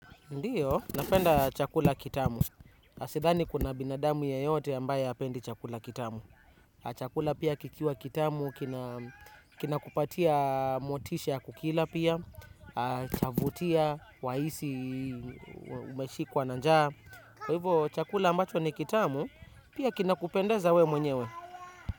Ndiyo, napenda chakula kitamu. Sidhani kuna binadamu yeyote ambaye apendi chakula kitamu. Chakula pia kikiwa kitamu, kinakupatia motisha kukila pia, chavutia, waisi, umeshikwa na njaa. Kwa hivyo, chakula ambacho ni kitamu, pia kinakupendaza we mwenyewe.